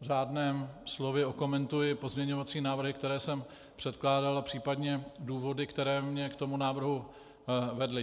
řádném slově okomentuji pozměňovacím návrhy, které jsem předkládal, a případně důvody, které mě k tomu návrhu vedly.